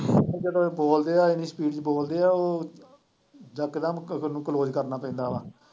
ਜਦੋਂ ਇਹ ਬੋਲਦੇ ਆ ਇੰਨੀ speed ਚ ਬੋਲਦੇ ਆ ਉਹ ਇੱਕਦਮ close ਕਰਨਾ ਪੈਂਦਾ ਵਾ